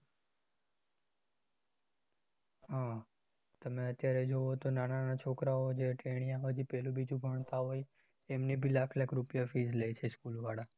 હ તમે અત્યારે જોવો તો નાના નાના છોકરાઓ જે ટેણીયાઓ હજી પહેલું બીજું ભણતા હોય એમને બી લાખ લાખ રૂપિયા fees લે છે school વાળા અમ